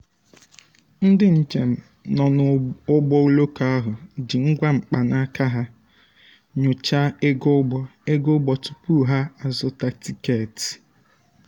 ndị njem um nọ n'ụgbọ oloko ahụ ji ngwa mkpanaka ha nyochaa um ego ụgbọ um ego ụgbọ tupu ha um azụta tikeeti.